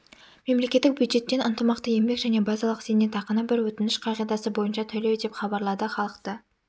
мемлекеттік бюджеттен ынтымақты еңбек және базалық зейнетақыны бір өтініш қағидасы бойынша төлеу деп хабарлады халықты